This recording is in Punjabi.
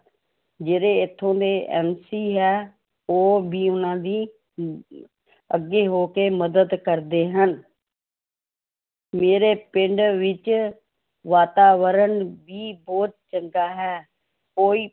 ਜਿਹੜੇ ਇੱਥੋਂ ਦੇ MC ਹੈ, ਉਹ ਵੀ ਉਹਨਾਂ ਦੀ ਅਮ ਅੱਗੇ ਹੋ ਕੇ ਮਦਦ ਕਰਦੇ ਹਨ ਮੇਰੇ ਪਿੰਡ ਵਿੱਚ ਵਾਤਾਵਰਨ ਵੀ ਬਹੁਤ ਚੰਗਾ ਹੈ, ਕੋਈ